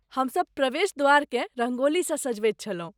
हम सब प्रवेश द्वारकेँ रंगोलीसँ सजबैत छलहुँ ।